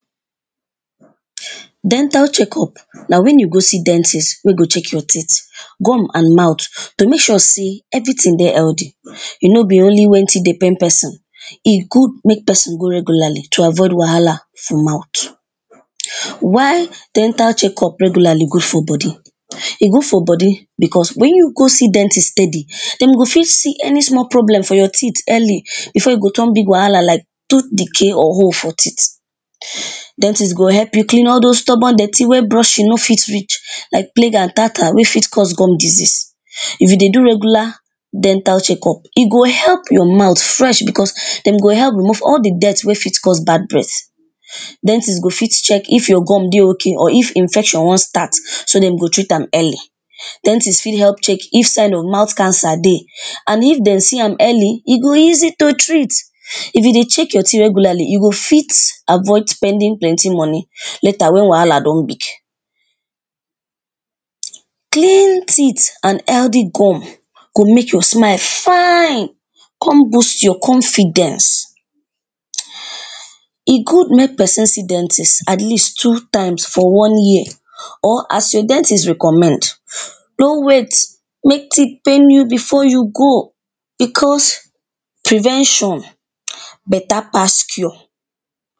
Dental check up na wen you go see dentist wey go check your teeth and mouth to make sure sey everytin dey healthy, no be only wen teeth dey pain pesin e good make pesin go regularly to avoid wahala for mouth. Why dental check up regularly good for body, e good for body becos wen you go see dentist speady dem go fit see any small problem for your teeth early before e go turn big wahala like tooth decay or hole for teeth, dentist go help you clean all dose stubborn dirty wey brushing no fit reach like plag and tartar wey fit cause gum disease, if you dey go regular gum check up e go help your mouth fresh becos e go help remove all di dirt wey fit cause bad breath, dentist go fit check if your gum dey okay or if infection wan start so dem go treat am early, dentist if help check if sign of mouth cancer dey and if dem see am early e go easy to treat if you dey check your teeth regularly you go fit avoid spending plenty money later wen wahala don big. Clean teeth and healthy gum go make your smile fine kon boost your confidence, e good make pesin see dentist at least two times for one year or as your dentist recommend, no wait make teeth pain you before you go becos prevention better pass cure.